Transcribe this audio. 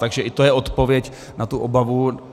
Takže i to je odpověď na tu obavu.